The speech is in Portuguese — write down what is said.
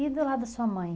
E do lado da sua mãe?